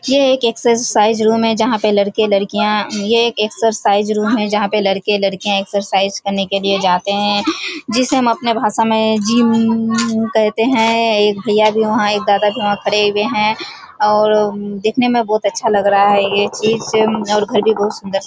ये एक exercise room है जहाँ पे लड़के लड़किया एक्सर्साइज़ करने के लिए जाते हैं जिसे हम अपने भाषा मे जिम कहते हैं | एक भैया वहाँ एक दादा भी वहाँ खडे हुए हैं और दिखने में बहुत अच्छा लग रहा है ये चीज और घर भी बहुत सुन्दर सुन्दर है|